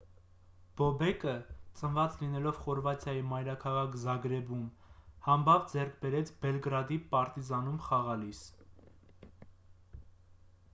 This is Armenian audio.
բոբեկը ծնված լինելով խորվաթիայի մայրաքաղաք զագրեբում համբավ ձեռք բերեց բելգրադի «պարտիզան»-ում խաղալիս: